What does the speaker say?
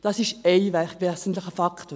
– Das ist wesentlicher Faktor.